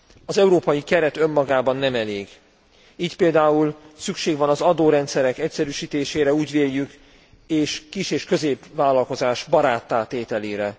Az európai keret önmagában nem elég, így például szükség van az adórendszerek egyszerűsítésére, úgy véljük, és kis és középvállalkozás baráttá tételére.